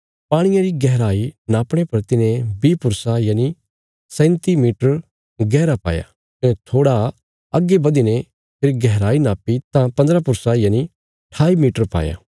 पाणिये री गहराई नापणे पर तिने बीह पुरसा यनि 37 मीटर गैहरा पाया कने थोड़ा अग्गे बधीने फेरी गैहराई नाप्पी तां पन्द्रह पुरसा यनि 28 मीटर पाया